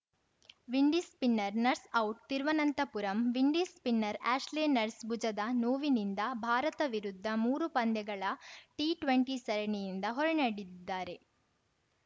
Windies spinner Nurse out Thiruvananthapuram ವಿಂಡೀಸ್‌ನ spinner Ashley Nurse ಭುಜದ ನೋವಿನಿಂದ ಭಾರತ ವಿರುದ್ಧದ ಮೂರು ಪಂದ್ಯಗಳ ಟಿಟ್ವೆಂಟಿ ಸರಣಿಯಿಂದ ಹೊರನಡೆದಿದ್ದಾರೆ